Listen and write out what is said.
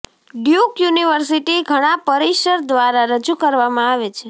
Duke university ઘણા પરિસર દ્વારા રજૂ કરવામાં આવે છે